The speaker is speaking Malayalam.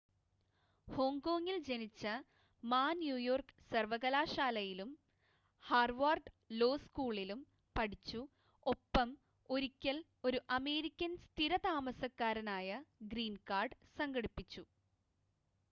"ഹോങ്കോങ്ങിൽ ജനിച്ച മാ ന്യൂയോർക്ക് സർവകലാശാലയിലും ഹാർവാർഡ് ലോ സ്കൂളിലും പഠിച്ചു ഒപ്പം ഒരിക്കൽ ഒരു അമേരിക്കൻ സ്ഥിര താമസക്കാരനായ "ഗ്രീൻ കാർഡ്" സംഘടിപ്പിച്ചു.